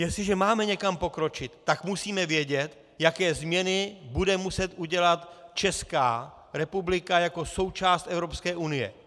Jestliže máme někam pokročit, tak musíme vědět, jaké změny bude muset udělat Česká republika jako součást Evropské unie.